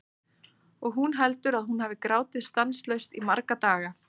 Og hún heldur að hún hafi grátið stanslaust í marga daga.